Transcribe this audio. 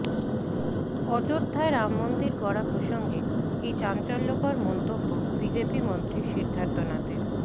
অযোধ্যায় রামমন্দির গড়া প্রসঙ্গে এই চাঞ্চল্যকর মন্তব্য বিজেপি মন্ত্রী সিদ্ধার্থনাথের